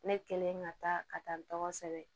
Ne kɛlen ka taa ka taa n tɔgɔ sɛbɛn